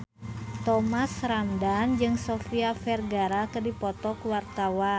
Thomas Ramdhan jeung Sofia Vergara keur dipoto ku wartawan